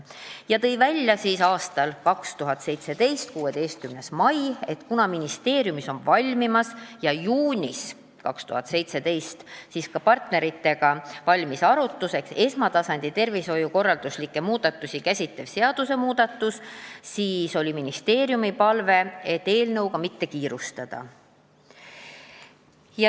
Ta tõi 2017. aasta 16. mail välja, et kuna ministeeriumis on valmimas ja juunis 2017 on valmis ka partneritega arutamiseks esmatasandi tervishoiukorralduslikke muudatusi käsitlev seadusmuudatuse väljatöötamiskavatsus, siis on ministeeriumi palve eelnõuga mitte kiirustada.